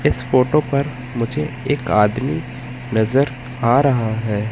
इस फोटो पर मुझे एक आदमी नजर आ रहा है।